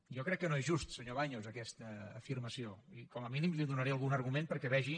jo crec que no és justa senyor baños aquesta afirmació i com a mínim li donaré algun argument perquè vegi